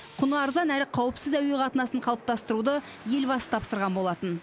құны арзан әрі қауіпсіз әуе қатынасын қалыптастыруды елбасы тапсырған болатын